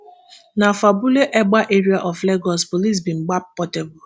na for abule egba area of lagos police bin gbab portable